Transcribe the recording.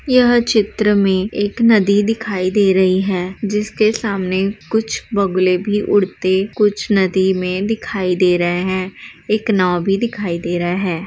यह चित्र में एक नदी दिखाई दे रही है जिसके सामने कुछ बगुले भी उड़ते कुछ नदी में दिखाई दे रहे हैं एक नांव भी दिखाई दे रहा है।